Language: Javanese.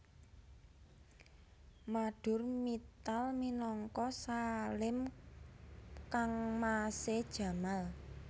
Madhur Mittal minangka Salim kangmasé Jamal